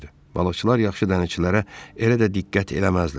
Balıqçılar yaxşı dənizçilərə elə də diqqət eləməzdilər.